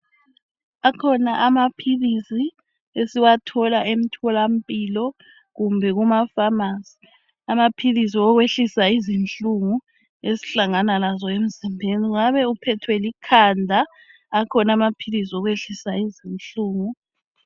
Akhona amaphilisi esiwathola emtholampilo kumbe kumafamasi. Amaphilisi okwehlisa izinhlungu esihlangana nazo emzimbeni. Ungabe uphethwe likhanda, akhona amaphilisi okwehlisa izinhlungu.